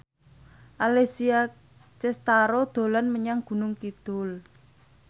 Alessia Cestaro dolan menyang Gunung Kidul